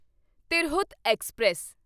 Tirhut express